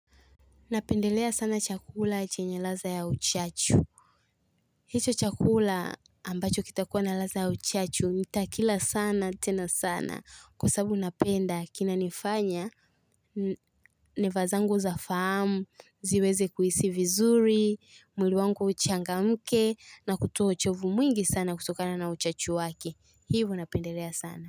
Napendelea sana chakula chenye ladha ya uchachu. Hicho chakula ambacho kitakuwa na ladha ya uchachu, ntakila sana, tena sana. Kwa sabu napenda, kinanifanya, neva zangu za fahamu, ziweze kuhisi vizuri, mwili wangu uchangamke, na kutua uchovu mwingi sana kutokana na uchachu wake. Hivo napendelea sana.